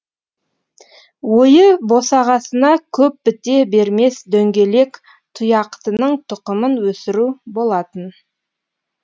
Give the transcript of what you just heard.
ойы босағасына көп біте бермес дөңгелек тұяқтының тұқымын өсіру болатын